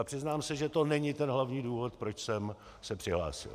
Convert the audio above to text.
Ale přiznám se, že to není ten hlavní důvod, proč jsem se přihlásil.